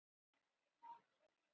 Hún starir enn á mig.